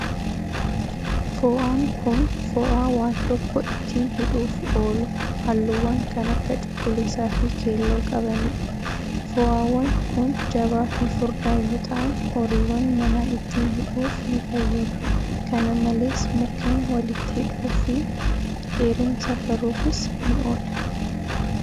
Fo'aan kun, fo'aa waan tokko ittiin hidhuuf oolu, haalluuwwan kan akka cuquliisa fi keelloo qabanii dha. Fo'aawwan kun, jabaa fi furdaa yoo ta'an horiiwwan manaa ittiin hidhuuf ni fayyadu. Kana malees ,mukkeen walitti hidhuuf fi dheerina safaruufis ni oola.